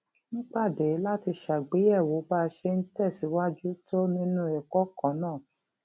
ń pàdé láti ṣàgbéyèwò bá a ṣe ń tè síwájú tó nínú èkó kan náà